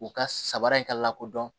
U ka sabara in ka lakodɔn